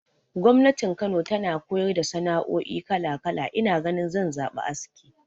Gwamnati Kano tana koyar da sana'oi kala kala, ina ganin zan zaɓi aski.